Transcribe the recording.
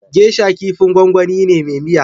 Gesha kifin gwangwani ne me miya